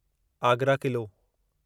Agra Qila